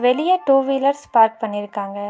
வெளியே two wheelers park பண்ணிருக்காங்க.